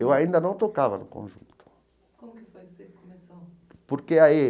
Eu ainda não tocava no conjunto. Como que foi que você começou. Porque aí.